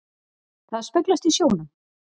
Það speglast í sjónum.